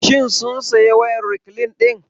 Shin sun saya wayar rekline ɗin?